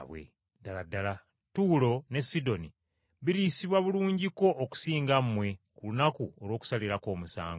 Ddala ddala Ttuulo ne Sidoni biriyisibwa bulungiko okusinga mmwe ku lunaku olw’okusalirako omusango!